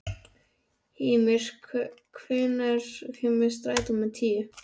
Hymir, hvenær kemur strætó númer tíu?